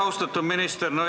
Austatud minister!